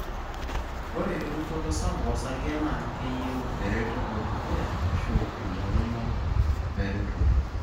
ore erukoto sapuk osarge na keyieu eretoto edukuya ashu ilo rumu eretoto.